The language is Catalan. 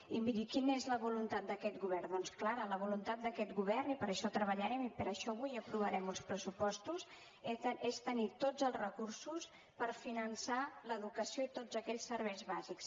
i miri quina és la voluntat d’aquest govern doncs clara la voluntat d’aquest govern i per això treballarem i per això avui aprovarem uns pressupostos és tenir tots els recursos per finançar l’educació i tots aquells serveis bàsics